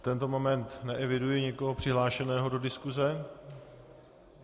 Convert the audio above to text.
V tento moment neeviduji nikoho přihlášeného do diskuse.